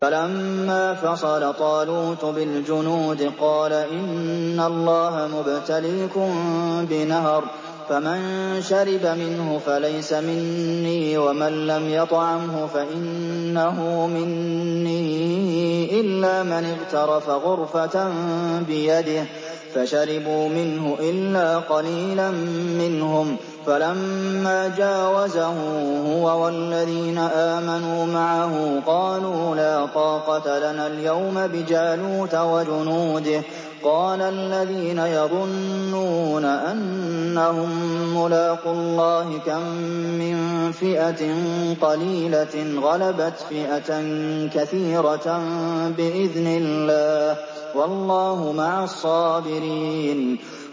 فَلَمَّا فَصَلَ طَالُوتُ بِالْجُنُودِ قَالَ إِنَّ اللَّهَ مُبْتَلِيكُم بِنَهَرٍ فَمَن شَرِبَ مِنْهُ فَلَيْسَ مِنِّي وَمَن لَّمْ يَطْعَمْهُ فَإِنَّهُ مِنِّي إِلَّا مَنِ اغْتَرَفَ غُرْفَةً بِيَدِهِ ۚ فَشَرِبُوا مِنْهُ إِلَّا قَلِيلًا مِّنْهُمْ ۚ فَلَمَّا جَاوَزَهُ هُوَ وَالَّذِينَ آمَنُوا مَعَهُ قَالُوا لَا طَاقَةَ لَنَا الْيَوْمَ بِجَالُوتَ وَجُنُودِهِ ۚ قَالَ الَّذِينَ يَظُنُّونَ أَنَّهُم مُّلَاقُو اللَّهِ كَم مِّن فِئَةٍ قَلِيلَةٍ غَلَبَتْ فِئَةً كَثِيرَةً بِإِذْنِ اللَّهِ ۗ وَاللَّهُ مَعَ الصَّابِرِينَ